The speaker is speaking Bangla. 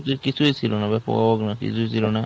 পদকটির কিছুই ছিল না ব্যাপক না কিছুই ছিল না।